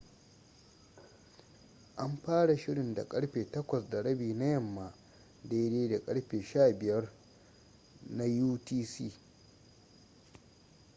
an fara shirin da karfe 8:30 na yamma 15.00 utc